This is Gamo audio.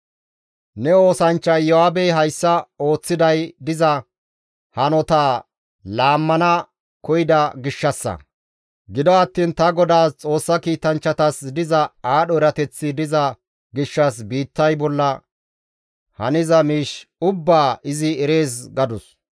Ne oosanchcha Iyo7aabey hayssa ooththiday diza hanotaa laammana koyida gishshassa; gido attiin ta godaas Xoossa kiitanchchatas diza aadho erateththi diza gishshas biittay bolla haniza miish ubbaa izi erees» gadus.